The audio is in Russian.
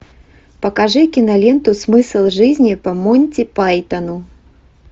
покажи киноленту смысл жизни по монти пайтону